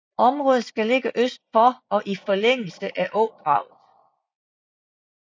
Området skal ligge øst for og i forlængelse af Ådraget